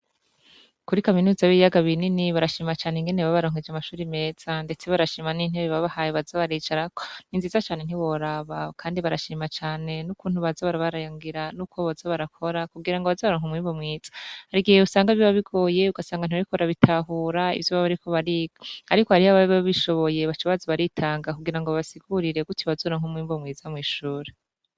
Kuri kaminuza b'iyaga binini barashimacane ingene ba baronkweje amashuri meza, ndetse barashima n'intebe babahaye bazabaricarako ni nziza cane ntiboraba, kandi barashima cane n'ukuntu bazabari barayangira n'ukoba baza barakora kugira ngo abazaronka umwibo mwiza harigihe wusanga b'ibabigoye yugasanganura bikora bitahura ivyo babariko bariko, ariko ariho ababibwobishoboe ye bacobazi baritanga kugira ngo basiguririe guti bazora nk'umwimbo mwiza mw'ishura.